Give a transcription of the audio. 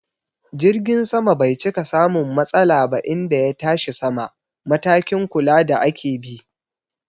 Jirgin sama bai cika samun matsala ba inda ya tashi sama, matakin kula da ake bi